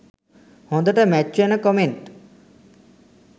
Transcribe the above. හොදට මැච් වෙන කොමෙන්ට්